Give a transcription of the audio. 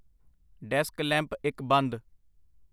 desk lamp ਇੱਕ ਬੰਦ